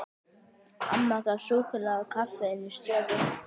Amma gaf súkkulaði og kaffi inni í stofu.